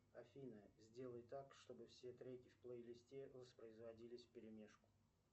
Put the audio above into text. афина сделай так чтобы все треки в плейлисте воспроизводились вперемешку